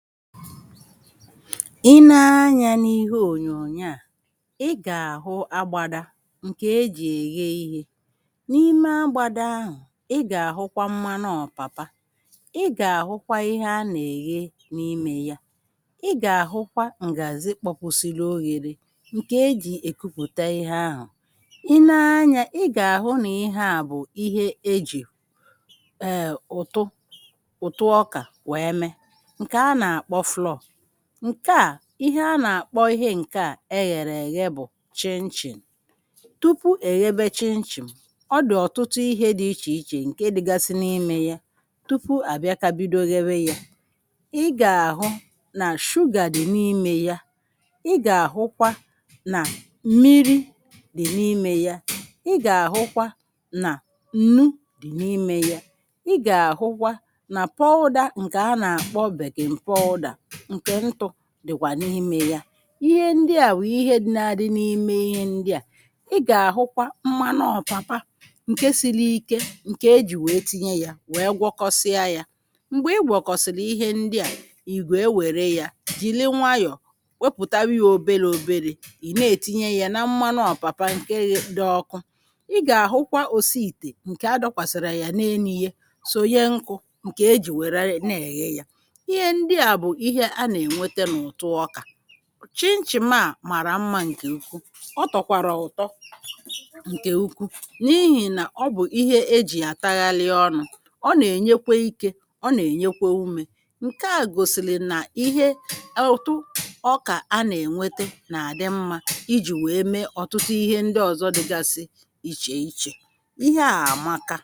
Ị ne anyā n’ihe ònyònyo à ị gà-àhụ agbāda ǹkè ejì èghe ihē n’ime agbāda ahụ̀ ị gà-àhụkwa mmanụ ọ̀pàpa ị gà-àhụkwa ihe anà-èghe n’imē ya ị gà-àhụkwa ǹgàzị kpọpusili oghēre ǹkè ejì èkupụ̀ta ihe ahụ̀ ị ne anyā ị gà-àhụ nà ihe à bụ̀ ihe ejù è ùtu ùtu ọka wèe me ǹkè anà-àkpọ flour ǹkè a ihe anà-àkpọ ihe ǹkè a eghèrè èghe bụ̀ chinchin tupu èghebe chinchin ọ dị̀ ọ̀tụtụ ihe dị ichè ichè ǹke dịgasi n’imē ya tupu àbịaka bido ghewe ya ị gà-àhụ nà sugar dị̀ n’imē ya ị gà-àhụkwa nà m̀miri dị̀ n’imē ya, ị gà-àhụkwa nà ǹnu dị n’imē ya ị gà-àhụkwa nà powder ǹkè anà-àkpọ baking powder, ǹkè ntū dị̀kwà n’imē ya ihe ndị à bụ̀ ihe na-adị n’ime ihe ndị à ị gà-àhụkwa mmanụ ọ̀pàpà ǹke sili ike ǹkè ejì wèe tinye ya wèe gwọkọsia ya m̀gbè ị gwọ̀kọ̀sìlì ihe ndị à ị̀ wèe wère ya jìli nwayò wepụ̀tewa ya oberē oberē ị̀ na-ètinye yā na mmanụ ọ̀pàpa ǹke ghē dị ọka ị gà-àhụkwa òsi ìtè ǹkè adọ̄kwàsàrā yà n’enū ye sònye nkū ǹkè ejì wère na-èghe ya ihe ndị à bụ̀ ihe anà-ènwete n’ùtu ọkà chinchim a màrà mmā ǹkè ukwu ọ tọ̀kwàrà ụ̀tọ ǹkè ukwu n’ihì nà ọ bụ̀ ihe ejì àtaghalị ọnụ̄ ọ nà-ènyekwe ikē ọ nà-ènyekwe umē ǹkè a gòsìlì nà ihe ùtu ọkà anà-ènwete nà àdị mmā ijì wèe me ọ̀tụtụ ihe ndị ọ̀zọ dịgasi ichè ichè ihe à àmaka